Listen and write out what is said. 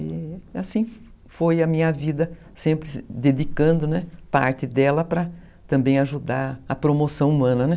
E assim foi a minha vida, sempre se dedicando, né, parte dela para também ajudar a promoção humana, né.